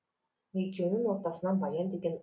екеуінің ортасынан баян деген